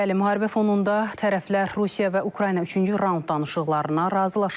Bəli, müharibə fonunda tərəflər Rusiya və Ukrayna üçüncü raund danışıqlarına razılaşıb.